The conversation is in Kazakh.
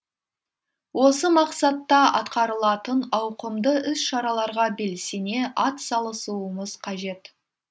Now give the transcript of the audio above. осы мақсатта атқарылатын ауқымды іс шараларға белсене ат салысуымыз қажет